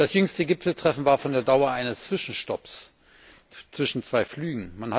Das jüngste Gipfeltreffen war von der Dauer eines Zwischenstopps zwischen zwei Flügen.